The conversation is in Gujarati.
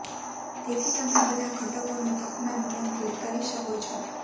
તેથી તમે બધા ઘટકોનું તાપમાન નિયંત્રિત કરી શકો છો